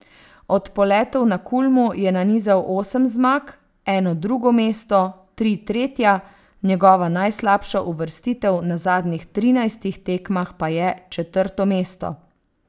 Od poletov na Kulmu je nanizal osem zmag, eno drugo mesto, tri tretja, njegova najslabša uvrstitev na zadnjih trinajstih tekmah pa je četrto mesto.